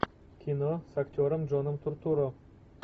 кино с актером джоном туртурро